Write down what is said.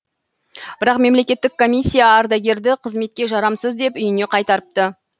бірақ мемлекеттік комиссия ардагерді қызметке жарамсыз деп үйіне қайтарыпты